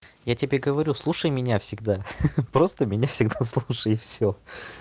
я тебе говорю слушай меня всегда ха-ха просто меня всегда слушай и всё